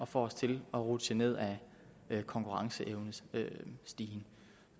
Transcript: får os til at rutsje ned ad konkurrenceevnestigen det